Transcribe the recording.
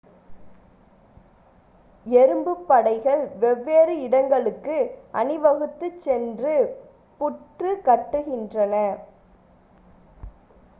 எறும்புப் படைகள் வெவ்வேறு இடங்களுக்கு அணிவகுத்துச் சென்று புற்று கட்டுகின்றன